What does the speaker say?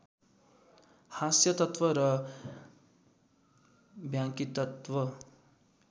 हास्यतत्त्व र व्यङ्ग्यतत्त्व